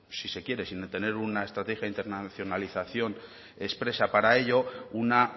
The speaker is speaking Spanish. si se quiere sin tener una estrategia internacionalización expresa para ello una